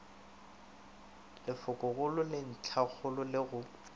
lefokogolo le ntlhakgolo le go